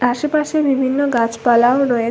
আশেপাশে বিভিন্ন গাছপালাও রয়ে--